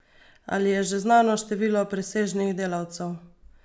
Ali je že znano število presežnih delavcev?